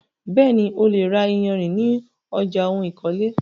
Bẹ́ẹ̀ni, o lè ra iyarìn ní ọjà oun ìkọ́lé.